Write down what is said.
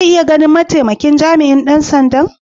Zan iya ganin ma'taimakin jami'in dan sanda'n?